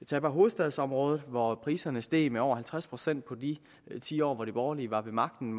tag bare hovedstadsområdet hvor priserne steg med over halvtreds procent i de ti år hvor de borgerlige var ved magten